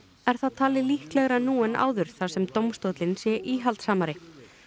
er það talið líklegara nú en áður þar sem dómstóllinn sé íhaldssamari